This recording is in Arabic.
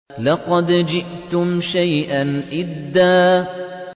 لَّقَدْ جِئْتُمْ شَيْئًا إِدًّا